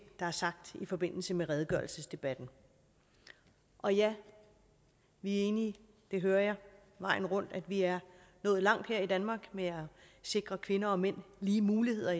der er sagt i forbindelse med redegørelsesdebatten og ja vi er enige det hører jeg vejen rundt vi er nået langt her i danmark med at sikre kvinder og mænd lige muligheder